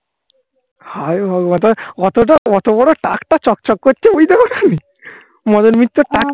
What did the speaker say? হায় ভগবান. অতটা অত বড় টাকটা চকচক করছে. বুঝতে পারোনি মদন মিত্রর টাক